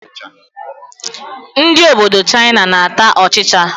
Ndị obodo Chaịna na-ata ọchịchị.